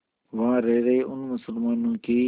वहां रह रहे उन मुसलमानों की